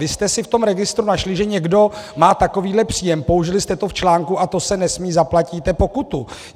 Vy jste si v tom registru našli, že někdo má takovýhle příjem, použili jste to v článku, a to se nesmí, zaplatíte pokutu!